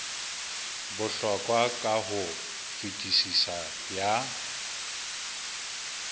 bohlokwa ka ho fetisisa ya